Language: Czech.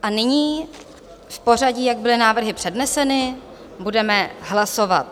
A nyní v pořadí, jak byly návrhy předneseny, budeme hlasovat.